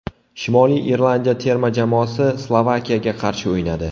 Shimoliy Irlandiya terma jamoasi Slovakiyaga qarshi o‘ynadi.